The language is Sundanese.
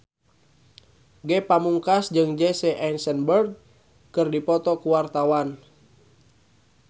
Ge Pamungkas jeung Jesse Eisenberg keur dipoto ku wartawan